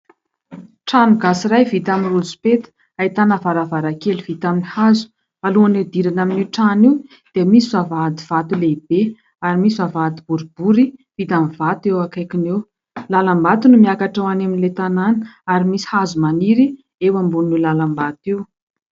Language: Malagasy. Trano gasy iray vita amin'ny rosopeta, ahitana varavaran-kely vita amin'ny hazo. Alohan'ny hidirana amin'io trano io dia misy vavahady vato lehibe ary misy vavahady boribory vita amin'ny vato eo akaikiny eo. Lalam-bato no miakatra ho any amin'ilay tanàna ary misy hazo maniry eo ambonin'io lalam-bato io.